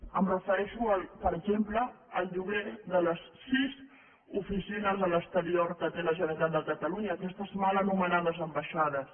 em refereixo per exemple al lloguer de les sis oficines a l’exterior que té la generalitat de catalunya aquestes mal anomenades ambaixades